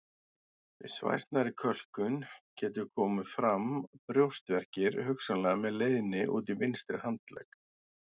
Við svæsnari kölkun geta komið fram brjóstverkir hugsanlega með leiðni út í vinstri handlegg.